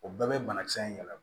O bɛɛ bɛ banakisɛ in yɛlɛma